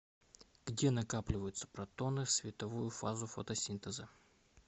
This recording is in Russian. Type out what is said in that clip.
где накапливаются протоны в световую фазу фотосинтеза